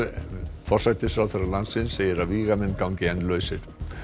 en forsætisráðherra landsins segir að vígamenn gangi enn lausir